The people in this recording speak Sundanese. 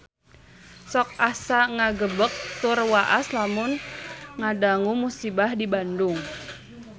Sok asa ngagebeg tur waas lamun ngadangu musibah di Bandung